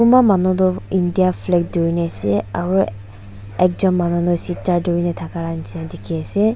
kunba manu tu india flag durina ase aro ekjun manu tu sitar durina dakala nishina diki ase.